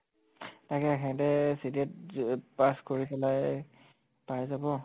তাকে হেহঁতে যেতিয়া য pass কৰি পেলাই পাই যাব